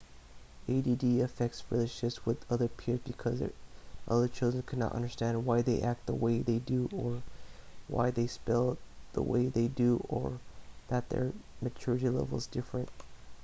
add affects relationships with other peers because other children can not understand why they act the way that they do or why they spell they way they do or that their maturity level is different